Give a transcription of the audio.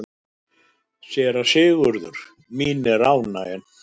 SÉRA SIGURÐUR: Mín er ánægjan.